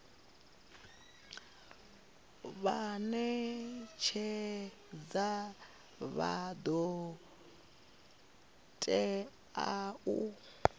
vhanetshedzi vha do tea u